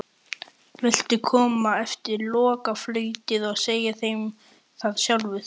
Viltu koma eftir lokaflautið og segja þeim það sjálfur?